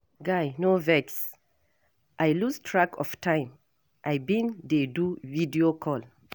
Guy no vex, I lose track of time, I bin dey do video call.